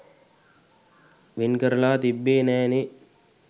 වෙන් කරලා තිබ්බෙ නෑ නේ